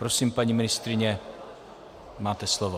Prosím, paní ministryně, máte slovo.